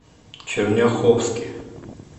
черняховске